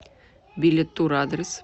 билетур адрес